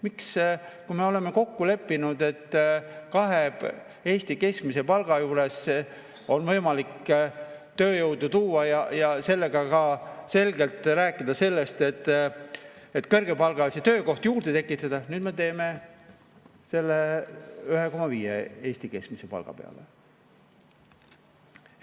Miks, kui me oleme kokku leppinud, et kahe Eesti keskmise palga juures on võimalik tööjõudu tuua ja sellega seoses ka selgelt rääkida sellest, et kõrgepalgalisi töökohti juurde tekitada, nüüd me toome selle 1,5 Eesti keskmise palga peale?